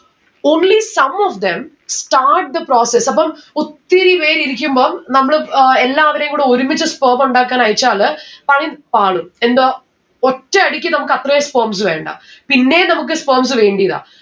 only some of them start the process അപ്പം ഒത്തിരി പേര് ഇരിക്കുമ്പം നമ്മള് ഏർ എല്ലാവരേം കൂടെ ഒരുമിച്ച് sperm ഉണ്ടാക്കാൻ അയച്ചാല് പണി പാളും എന്താ ഒറ്റയടിക്ക് നമ്മുക്ക് അത്രേം sperms വേണ്ട. പിന്നേം നമ്മുക്ക് sperms വേണ്ടിതാ